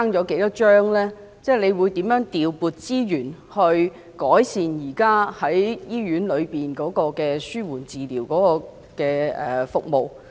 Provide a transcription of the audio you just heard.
局長會如何調撥資源，改善現時醫院內的紓緩治療服務？